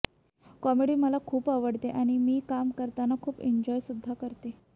comedy मला खूप आवडते आणि मी काम करताना खूप एंजॉय सुद्धा करते